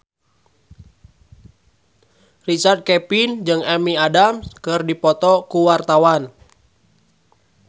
Richard Kevin jeung Amy Adams keur dipoto ku wartawan